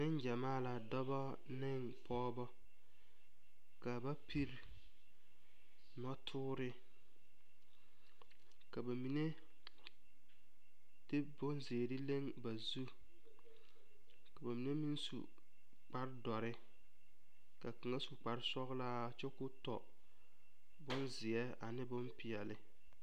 Nen gyɛmaa. la dɔba ne pɔgeba ka ba piri noɔ tɔree ka ba mine de bon zeɛre leŋe ba zuuri, ka ba mine meŋ su kparre doɔre, ka kaŋa su kparre sɔglaa kyɛ koɔ tɔ bonzeɛ ane bon peɛle.